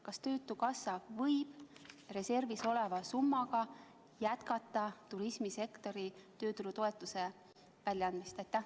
Kas töötukassa võib reservis oleva summaga jätkata turismisektori tööturutoetuse väljaandmist?